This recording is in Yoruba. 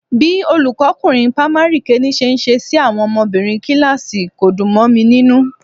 Bí olùkọ́kunrin pamari kìíní ṣe ń ṣe sí àwọn obìnrin kíláàsì kò dùn mọ mi nínú